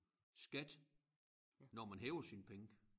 Skat når man hæver sine penge